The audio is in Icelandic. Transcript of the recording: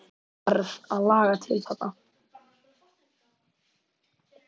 Ég varð að laga til þarna.